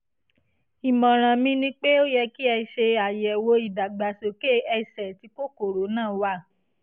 ìmọ̀ràn mi ni pé ó yẹ kí ẹ ṣe àyẹ̀wò ìdàgbàsókè ẹsẹ̀ tí kòkòrò náà wà